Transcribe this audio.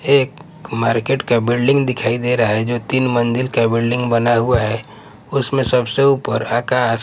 एक मार्केट का बिल्डिंग दिखाई दे रहा है जो तीन मंजिल का बिल्डिंग बना हुआ है उसमें सबसे ऊपर आकास--